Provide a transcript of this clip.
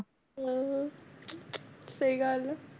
ਹਾਂ ਸਹੀ ਗੱਲ ਹੈ